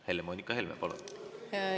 Helle-Moonika Helme, palun!